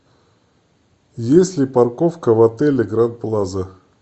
есть ли парковка в отеле гранд плаза